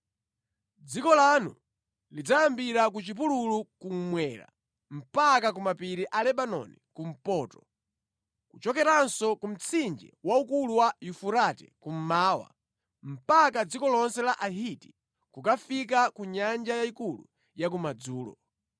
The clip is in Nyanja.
Dziko lanu lidzayambira ku chipululu kummwera mpaka ku mapiri a Lebanoni kumpoto, kuchokeranso ku mtsinje waukulu wa Yufurate kummawa, mpaka dziko lonse la Ahiti, kukafika ku Nyanja Yayikulu ya kumadzulo.